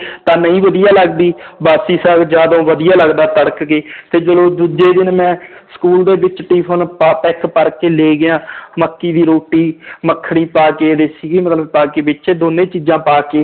ਤਾਂ ਨਹੀਂ ਵਧੀਆ ਲੱਗਦੀ ਬਾਸੀ ਸਾਘ ਜ਼ਿਆਦਾ ਵਧੀਆ ਲੱਗਦਾ ਤੜਕ ਕੇ ਤੇ ਚਲੋ ਦੂਜੇ ਦਿਨ ਮੈਂ school ਦੇ ਵਿੱਚ tiffin ਪਾ ਤਾ, ਇੱਕ ਭਰਕੇ ਲੈ ਗਿਆ ਮੱਕੀ ਦੀ ਰੋਟੀ ਮੱਖਣੀ ਪਾ ਕੇ ਸੀਗੀ ਮਤਲਬ ਪਾ ਕੇ ਵਿੱਚ ਦੋਨੇ ਚੀਜ਼ਾਂ ਪਾ ਕੇ